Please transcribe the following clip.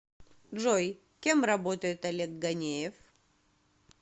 джой кем работает олег ганеев